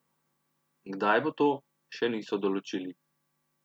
Kdaj bo to, še niso določili.